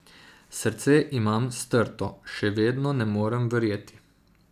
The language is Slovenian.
Srce imam strto, še vedno ne morem verjeti.